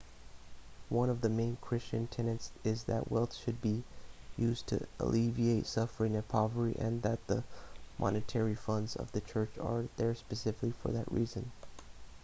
one of the main christian tenets is that wealth should be used to alleviate suffering and poverty and that the monetary funds of the church are there specifically for that reason